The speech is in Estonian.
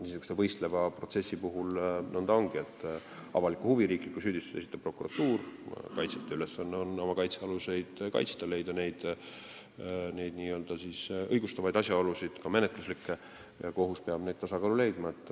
Niisuguste võistlevate protsesside puhul nõnda ongi, et riikliku süüdistuse esitab prokuratuur, kaitsjate ülesanne on oma kaitsealuseid kaitsta, leida õigustavaid asjaolusid, ka menetluslikke, ja kohus peab tasakaalu leidma.